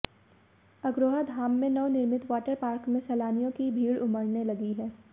अग्रोहा धाम में नवनिर्मित water park में सैलानियों की भीड़ उमडऩे लगी है